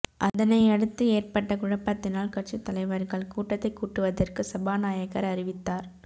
அதனையடுத்து ஏற்பட்ட குழப்பத்தினால் கட்சித் தலைவர்கள் கூட்டத்தை கூட்டுவதற்கு சபாநாயகர் அறிவித்தார்